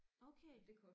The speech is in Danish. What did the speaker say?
Okay